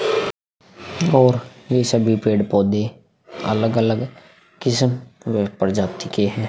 और ये सभी पेड़-पौधे अलग-अलग किस्म व प्रजाति के हैं।